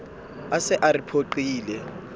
a se a re phoqile